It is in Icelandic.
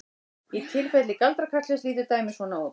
Í tilfelli galdrakarlsins lítur dæmið svona út: